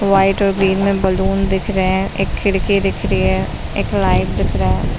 White व green मे balloon दिख रहे है एक खिड़की दिख रही है एक लाइट दिख रहा है।